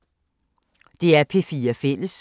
DR P4 Fælles